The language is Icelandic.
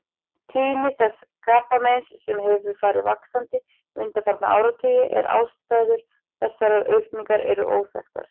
Tíðni þessa krabbameins hefur farið vaxandi undanfarna áratugi en ástæður þessarar aukningar eru óþekktar.